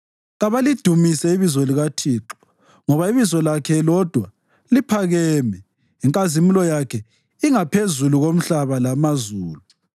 Kabalidumise ibizo likaThixo, ngoba ibizo lakhe lodwa liphakeme; inkazimulo yakhe ingaphezulu komhlaba lamazulu.